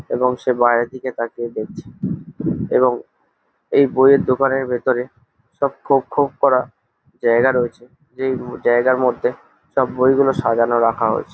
এবং সে বাইরের দিকে তাকিয়ে দেখছে-এ এবং এই বইয়ের দোকানের ভেতরে সব খোপ খোপ করা জায়গা রয়েছে যেই জায়গার মধ্যে সব বইগুলো সাজানো রাখা হয়েছে।